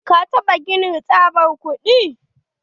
Ka taɓa ganin tsabar kuɗi?